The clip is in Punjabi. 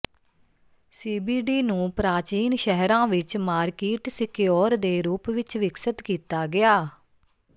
ਸੀਬੀਡੀ ਨੂੰ ਪ੍ਰਾਚੀਨ ਸ਼ਹਿਰਾਂ ਵਿੱਚ ਮਾਰਕੀਟ ਸਿਕਓਰ ਦੇ ਰੂਪ ਵਿੱਚ ਵਿਕਸਤ ਕੀਤਾ ਗਿਆ